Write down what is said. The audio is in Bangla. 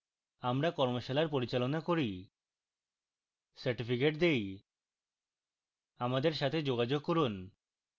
আমরা কর্মশালার পরিচালনা করি certificates দেই আমাদের সাথে যোগাযোগ করুন